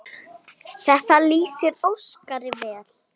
Þetta lýsir Óskari vel.